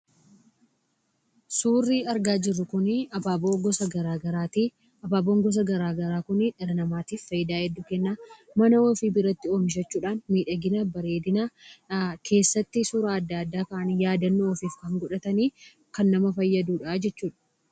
Suurri argaa jirru kun abaaboo gosa garaa garaatii. Abaaboon gosa garaa garaa kun dhala namaatif faayidaa hedduu kennaa. Mana ofii biratti oomishachuudhaan miidhagina bareedina keessatti suura adda addaa ka'anii yaadannoo ofiif kan godhatanii kan nama fayyadudha jechuudha.